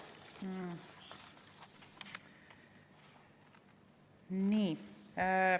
Nii.